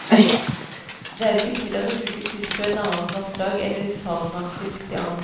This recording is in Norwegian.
Det er ikke tillatt å bruke fisk fra et annet vassdrag eller saltvannsfisk til agn.